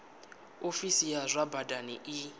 ofisi ya zwa badani i